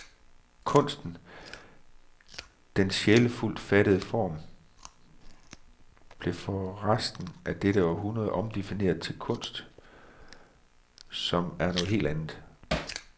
Kunsten, den sjælfuldt fattede form, blev for resten af dette århundrede omdefineret til kunst, som er noget helt andet.